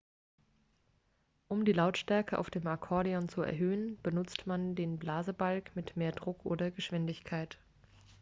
um die lautstärke auf dem akkordeon zu erhöhen benutzt man den blasebalg mit mehr druck oder geschwindigkeit